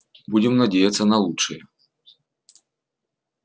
будем надеяться на лучшее